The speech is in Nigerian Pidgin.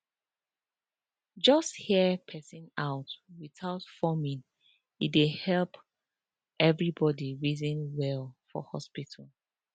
just hear person out without forming e dey helep everybody reason well for hospital